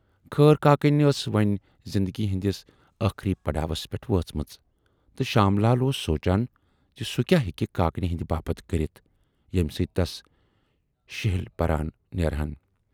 خٲر کاکٕنۍ ٲس وۅنۍ زِندگی ہٕندِس ٲخری پڑاوس پٮ۪ٹھ وٲژمٕژ تہٕ شام لال اوس سونچان زِ سُہ کیاہ ہٮ۪کہِ کاکنہِ ہٕندِ باپتھ کٔرِتھ ییمہِ سۭتۍ تس شِہِلۍ پران نیرہَن۔